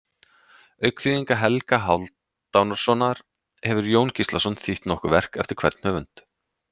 Auk þýðinga Helga Hálfdanarsonar hefur Jón Gíslason þýtt nokkur verk eftir hvern höfund.